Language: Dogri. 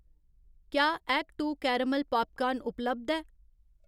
क्या एक्ट टू केरेमल पापकार्न उपलब्ध ऐ ?